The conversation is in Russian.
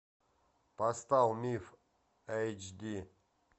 поставь миф эйч ди